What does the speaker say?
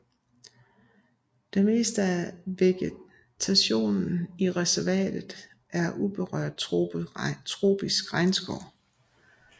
Det meste af vegetationen i reservatet er uberørt tropisk regnskov